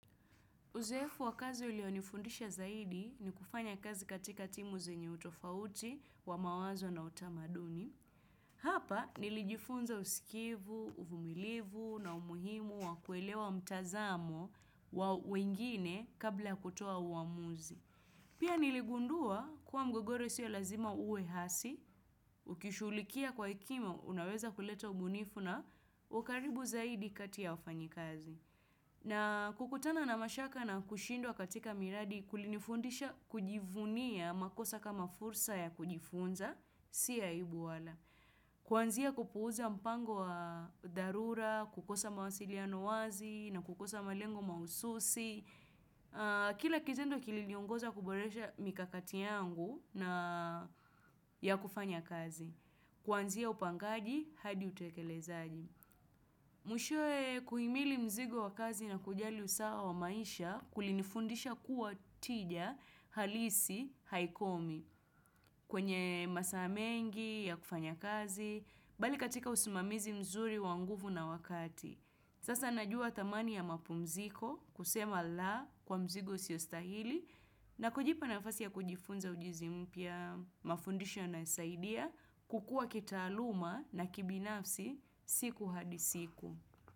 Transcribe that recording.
Uzoefu wa kazi ulionifundisha zaidi ni kufanya kazi katika timu zenye utofauti wa mawazo na utamaduni. Hapa nilijifunza usikivu, uvumilivu na umuhimu wa kuelewa mtazamo wa wengine kabla kutoa uamuzi. Pia niligundua kuwa mgogoro sio lazima uwe hasi, ukishughulikia kwa hekima unaweza kuleta ubunifu na ukaribu zaidi kati ya wafanyi kazi. Na kukutana na mashaka na kushindwa katika miradi kulinifundisha kujivunia makosa kama fursa ya kujifunza, si aibu wala. Kuanzia kupuuza mpango wa dharura, kukosa mawasiliano wazi na kukosa malengo mahususi. Kila kitendo kiliniongoza kuboresha mikakati yangu na ya kufanya kazi. Kwanzia upangaji hadi utekelezaji. Mwishoe kuhimili mzigo wa kazi na kujali usawa wa maisha kulinfundisha kuwa tija halisi haikomi kwenye masaa mengi ya kufanya kazi, bali katika usimamizi mzuri wa nguvu na wakati. Sasa najua thamani ya mapumziko kusema la kwa mzigo usio stahili na kujipa nafasi ya kujifunza ujuzi mpya mafundisho yanayosaidia kukua kitaaluma na kibinafsi siku hadi siku.